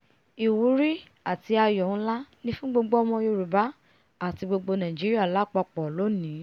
ìwúrí àti àyọ̀ nlá ni fún gbogbo ọmọ yorùbá àti gbogbo nàìjíríà lápapọ̀ lónìí!